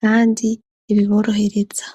kandi ibiborohereza.